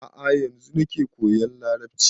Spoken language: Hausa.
A'a yanzu nake koyan larabci